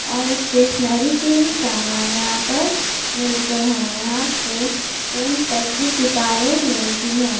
और स्टेशनरी के भी सामान यहाँ पर मिलते है यहाँ पे टेंथ तक की किताबे मिलती है।